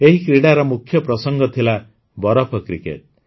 ଏହି କ୍ରୀଡ଼ାର ମୁଖ୍ୟପ୍ରସଙ୍ଗ ଥିଲା ବରଫ କ୍ରିକେଟ୍